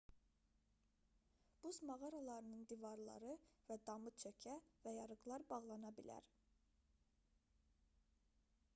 buz mağaralarının divarları və damı çökə və yarıqlar bağlana bilər